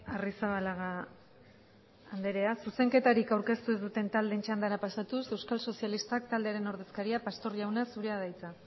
arrizabalaga andrea zuzenketarik aurkeztu ez duten taldeen txandara pasatuz euskal sozialistak taldearen ordezkaria pastor jauna zurea da hitza